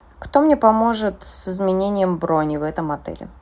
кто мне поможет с изменением брони в этом отеле